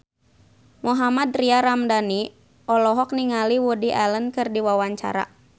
Mohammad Tria Ramadhani olohok ningali Woody Allen keur diwawancara